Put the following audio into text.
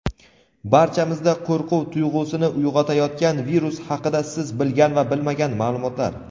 barchamizda qo‘rquv tuyg‘usini uyg‘otayotgan virus haqida siz bilgan va bilmagan maʼlumotlar.